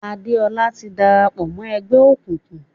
Adéọlá ti dára pọ̀ mọ́ ẹgbẹ́ òkùnkùn.